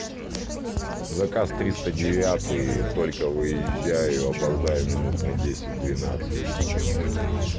заказ триста девятый только выезжаю опоздаю минут на десять двенадцать